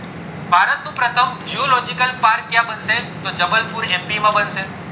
પ્રથમ geological park ક્યાં બનશે તો જબલપુર એમ પી માં બનશે